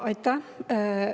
Aitäh!